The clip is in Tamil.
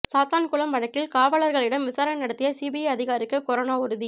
சாத்தான்குளம் வழக்கில் காவலர்களிடம் விசாரணை நடத்திய சிபிஐ அதிகாரிக்கு கொரோனா உறுதி